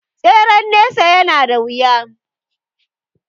Tseren nesa ya na da wuya